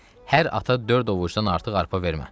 Hər ata dörd ovucdan artıq arpa vermə.